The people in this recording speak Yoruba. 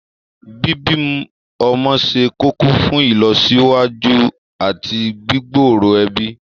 Bíbí ọmọ ṣe kókó fún ìlọsíwájú àti gbígbòòrò ẹbí